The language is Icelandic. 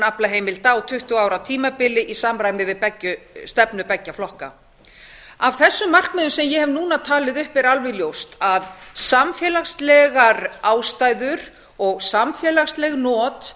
aflaheimilda á tuttugu ára tímabili í samræmi við stefnu beggja flokka af þessum markmiðum sem ég hef núna talið upp er alveg ljóst að samfélagslegar ástæður og samfélags not